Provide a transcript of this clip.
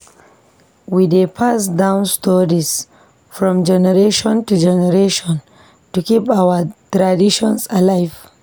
We dey pass down stories from generation to generation to keep our traditions alive.